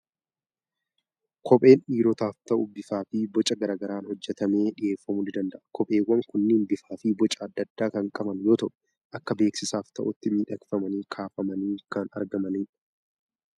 Kopheen dhiirotaaf ta'u bifaa fi boca garaa garaan hojjetamee dhiyeeffamuu ni danda'a. kopheewwn kunneen bifaa fi boca adda addaa kan qaban yoo ta'u, akka beeksisaaf ta'utti miidhagfamnii kaafamanii kan argamanidha.